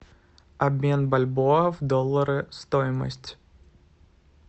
обмен бальбоа в доллары стоимость